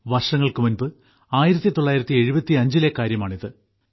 വർഷങ്ങൾക്കുമുൻപ് 1975 ലെ കാര്യമാണിത്